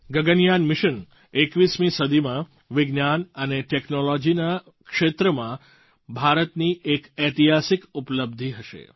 Gaganyaan mission 21મી સદીમાં વિજ્ઞાન અને ટૅક્નૉલૉજીના ક્ષેત્રમાં ભારતની એક ઐતિહાસિક ઉપલબ્ધિ હશે